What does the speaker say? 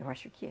Eu acho que é.